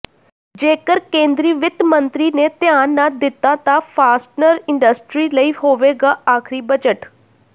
ਜੇਕਰ ਕੇਂਦਰੀ ਵਿੱਤ ਮੰਤਰੀ ਨੇ ਧਿਆਨ ਨਾ ਦਿੱਤਾ ਤਾਂ ਫਾਸਟਨਰ ਇੰਡਸਟਰੀ ਲਈ ਹੋਵੇਗਾ ਆਖਰੀ ਬਜਟ